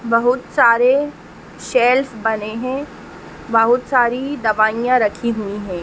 बहुत सारे शेल्फ बने है बहुत सारी दवाइयां रखी हुई हैं।